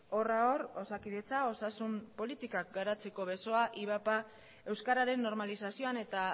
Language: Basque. horra hor osakidetza osasun politikak garatzeko besoa ivap euskararen normalizazioan eta